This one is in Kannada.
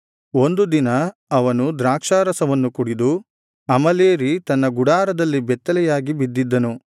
ಒಂದು ದಿನ ಅವನು ದ್ರಾಕ್ಷಾರಸವನ್ನು ಕುಡಿದು ಅಮಲೇರಿ ತನ್ನ ಗುಡಾರದಲ್ಲಿ ಬೆತ್ತಲೆಯಾಗಿ ಬಿದ್ದಿದ್ದನು